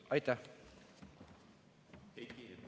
Aitäh!